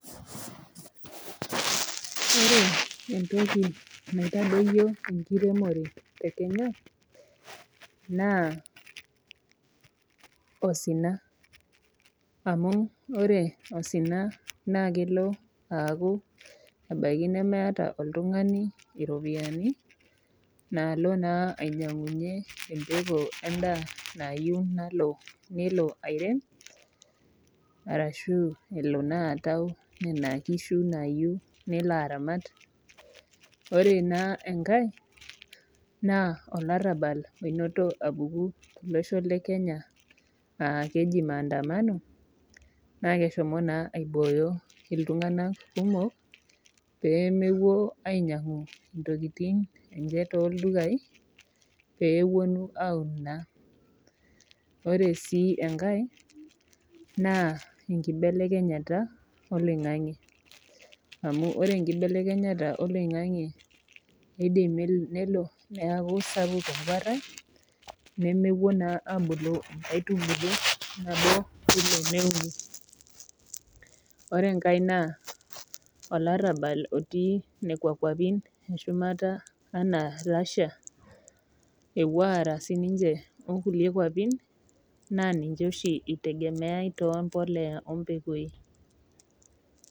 Ore entoki naitodoyie enkiremore tee Kenya naa osinaanu ore osina naa kelo akuu ebaiki nemeeta oltung'ani eropiani nalo ainyiang'unye embekuu endaa nayieu nelo airem ashu atau ena kishu nayieu nelo aramat ore naa enkae na olarabal enoto ahomo apuku too losho lee kenyaa aa keji mandamano kake eshomo naa aiboyo iltung'ana kumok pee mepuo ainyiang'u ntokitin enye too ildukai pee epuonu aun naa ore sii enkae naa enkinelekenyata oloingange amu ore enkinelekenyata oloingange naa kidim nelo neeku sapuk eguara nemepuo naa abulu nkaitubulu nabo ore enkae naa olarabal otii nekua nkwapii eshumata Russia epuo Ara sininye oo kulie nkwapii naa ninye oshi ekitegemeai too mbolea oo mbekui